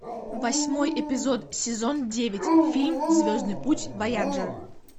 восьмой эпизод сезон девять фильм звездный путь вояджер